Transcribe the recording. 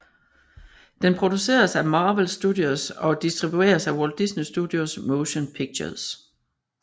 Den produceres af Marvel Studios og distribueres af Walt Disney Studios Motion Pictures